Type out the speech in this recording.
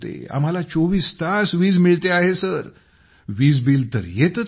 आम्हाला 24 तास वीज मिळते आहे बिल तर येतच नाही